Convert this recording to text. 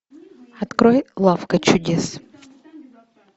открой лавка чудес